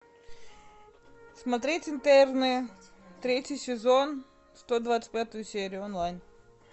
смотреть интерны третий сезон сто двадцать пятую серию онлайн